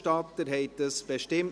Antrag SiK [Moser, Landiswil])